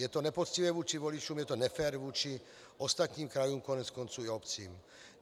Je to nepoctivé vůči voličům, je to nefér vůči ostatním krajům, koneckonců i obcím.